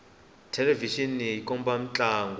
thelevixini ya komba mintlangu